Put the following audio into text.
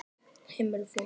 Heimili fólks.